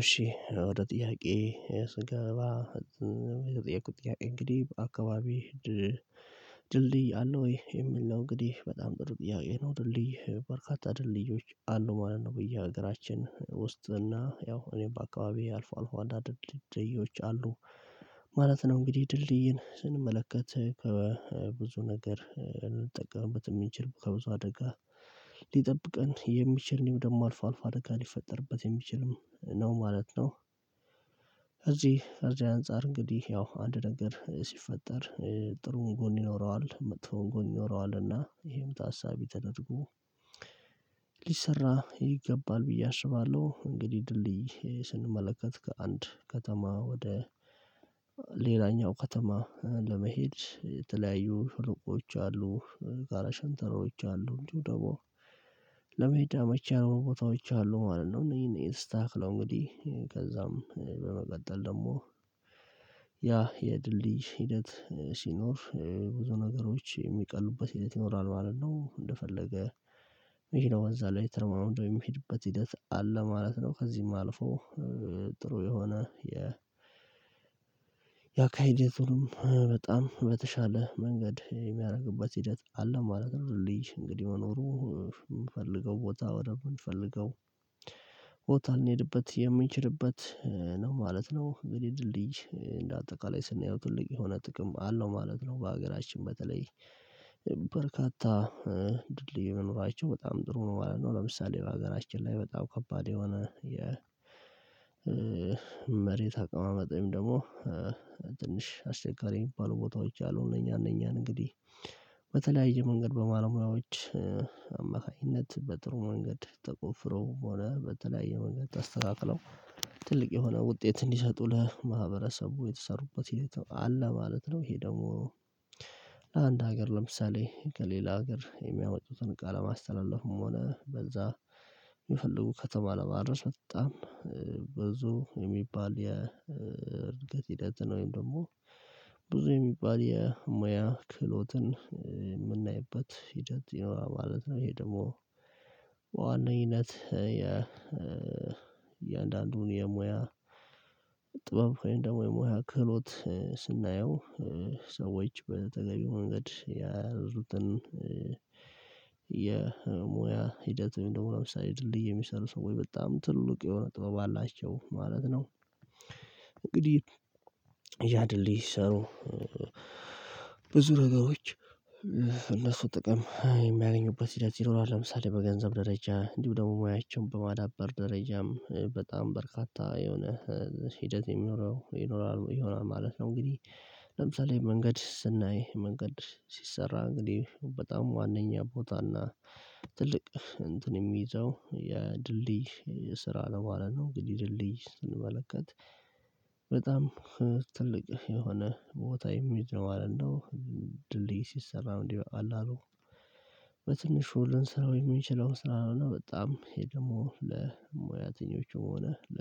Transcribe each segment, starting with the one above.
እሺ ወደ ጥያቄ ስገባ የተጠየቁት ጥያቄ እንግዲህ በአካባቢህ ድልድይ አለው? ይሄ የሚል ነው እንግዲህ በጣም ጥሩ ጥያቄ ነው ድልድይ በርካታ ድልድዮች አሉ ማለት ነው። በዬ ሀገራችን ውስጥ እና ያው እኔ በአካባቢየ አልፎ አልፎ አንዳንድ ድልድዮች አሉ ማለት ነው። እንግዲህ ድልድይን ስንመለከት ከብዙ ነገር እንጠቀምበት ምንችል ከብዙ አደጋ ሊጠብቀን የሚችል ነው ደሞ አልፎ አልፋ አደጋ ሊፈጠርበት የሚችልም ነው ማለት ነው። እዚህ እዚህ አንፃር እንግዲህ ያው አንድ ነገር ሲፈጠር ጥሩ ጎን ይኖረዋል፣ መጥፎ ጎን ይኖረዋል እና ይሄም ታሳቢ ተደርጎ ሊሰራ ይገባል ብዬ አስባለሁ እንግዲህ ድልድይ ስንመለከት ከአንድ ከተማ ወደ ሌላኛው ከተማ ለመሄድ የተለያዩ ሸለቆዎች አሉ ጋራ ሸንተረሮች አሉ እንዲሁ ደግሞ ለመሄድ አመች ያልሆኑ ቦታዎች አሉ ማለት ነው። እነኝህ እነኝህ ተካክለው እንግዲህ ከዛም በመቀጠል ደግሞ ያ የድል ልጅ ሂደት ሲኖር ብዙ ነገሮች የሚቀሉበት ሂደት ይኖራል ማለት ነው። እንደፈለገ መኪናው በዚያ ላይ ተረማምዶ የሚሄድበት ሂደት አለ ማለት ነው። ከዚህም አልፎ ጥሩ የሆነ የ ያ ካይድ የትሩም በጣም በተሻለ መንገድ የሚያርግበት ሂደት አለ ማድረግ ማለት ነው ሊጅ እንግዲህ መኖሩ የምንፈልገው ቦታ ወደ ምንፈልገው ቦታ ልንሄድበት የምንችልበት ነው ማለት ነው። እንግዲህ ድልድይ እንደ አጠቃላይ ስናየው ትልቅ የሆነ ጥቅም አለው ማለት ነው። በሀገራችን በተለይ በርካታ ድልድይ መኖራቸው በጣም ጥሩ ነው ማለት ነው። ለምሳሌ በሀገራችን ላይ በጣም ከባድ የሆነ የመሬት አቀማመጥ ወይም ደግሞ ትንሽ አስቸጋሪ የሚባሉ ቦታዎች አሉ እነኛ እነኛን እንግዲህ በተለያየ መንገድ በባለሙያዎች አማካኝነት በጥሩ መንገድ ተቆፍሮ በሆነ በተለያየ መንገድ ተስተካክለው ትልቅ የሆነ ውጤት እንዲሰጡ ለማህበረሰቡ የተሰሩበት ሂደት አለ ማለት ነው። ይሄ ደግሞ ለአንድ ሀገር ለምሳሌ ከሌላ ሀገር የሚያወጡትን እቃ ለማስተላለፍም ሆነ በዛ የሚፈልጉ ከተባለ ለማድረስ በጣም ብዙ የሚባል የእርድገት ሂደት ነው ወይም ደግሞ ብዙ የሚባል የሙያ ክህሎትን የምናይበት ሂደት ይኖራል ማለት ነው። ይሄ ደግሞ በዋንኝነት የ የሙያ ጥበብ ወይም ደግሞ የሙያ ክህሎት ስናየው ሰዎች በተገቢው መንገድ የያዙትን የሙያ ሂደት ደግሞ ለምሳሌ ድልድይ የሚሰሩ ሰዎች በጣም ትልቅ የሆነ ጥበብ አላቸው ማለት ነው። እንግዲህ ያድልድይ ሲሰሩ ብዙ ነገሮች እነሱ ጥቅም የሚያገኙበት ሂደት ይኖራል ለምሳሌ በገንዘብ ደረጃ እንዲሁ ደግሞ ሙያችን በማዳበር ደረጃም በጣም በርካታ የሆነ ሂደት የሚኖረው ይኖራል ይሆናል ማለት ነው። እንግዲህ ለምሳሌ መንገድ ስናይ መንገድ ሲሰራ እንግዲህ በጣም ዋነኛ ቦታና ትልቅ እንትን የሚይዘው የድልድይ ስራ ነው ማለት ነው። እንግዲህ ድልድይ ስንመለከት በጣም ትልቅ የሆነ ቦታ ኢሜጅ ነው ማለት ነው ድልድይ ሲሰራ እንዲህ በቀላሉሉ በትንሹ ልንሰራው የምንችለው ስራ ነው። በጣም ይሄ ደግሞ ለሙያተኞችም ሆነ ለ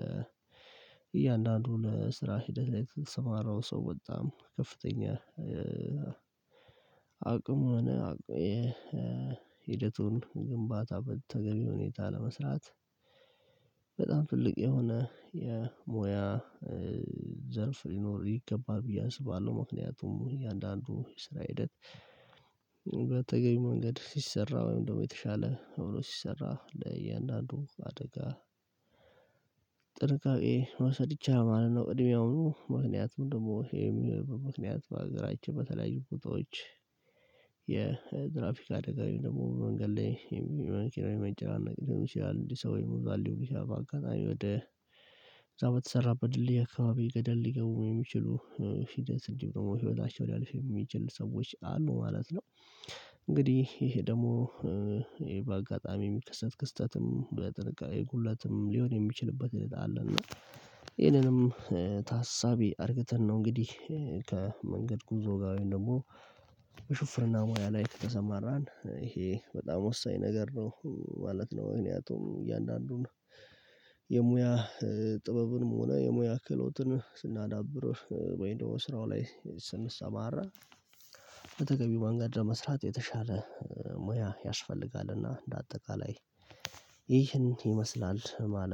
እያንዳንዱ ለስራ ሂደት ላይ ለተስማራው ሰው በጣም ከፍተኛ አቅም ሆነ ሂደቱን ግንባታ በተገቢ ሁኔታ ለመስራት በጣም ትልቅ የሆነ የሞያ ዘርፍ ሊኖር ይገባል ብዬ አስባለሁ። ምክንያቱም እያንዳንዱ የስራ ሂደት በተገቢ መንገድ ሲሰራ ወይም ደግሞ የተሻለ አብሮ ሲሰራ ለእያንዳንዱ አደጋ መውሰድ ይቻላል ማለት ነው ቅድሚያውኑ ምክንያቱም ደግሞ የሚልበት ምክንያት በሀገራቸው በተለያዩ ቦታዎች የትራፊካ አደጋ ወይም ደግሞ መንገድ ላይ የመኪናው መጨረሻ ሊሆን ይችላል እንዲህ ሰው ይበዛል ሊሆን ይችላል በአጋጣሚ ወደ እዛ በተሰራበት ድልድይ አካባቢ ገደል ሊገቡ የሚችሉ ሂደት እንዲሁም ደግሞ ህይወታቸው ሊያልፍ የሚችል ሰዎች አሉ ማለት ነው። እንግዲህ ይሄ ደግሞ ይሄ በአጋጣሚ የሚከሰት ክስተትም በጥንቃቄ ሁለትም ሊሆን የሚችልበት አለ እና ይሄንንም ታሳቢ አርግተን ነው እንግዲህ ከመንገድ ጉዞ ጋር ደግሞ ሹፍርና ሙያ ላይ ከተሰማራን ይሄ በጣም ወሳኝ ነገር ነው። ማለት ነው ምክንያቱም እያንዳንዱን የሙያ ጥበብንም ሆነ የሙያ ክህሎትን ስናዳብር ወይንም ደሞ ስራው ላይ ስንሰማራ በተገቢው ማንገድ መስራት የተሻለ ሙያ ያስፈልጋልና እንደ አጠቃላይ ይህን ይመስላል ማለት።